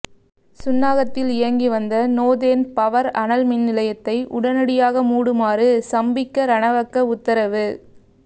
சுன்னாகத்தில் இயங்கி வந்த northern power அனல் மின்நிலையத்தை உடனடியாக மூடுமாறு சம்பிக்க ரணவக்க உத்தரவு